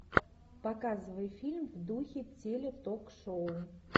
показывай фильм в духе теле ток шоу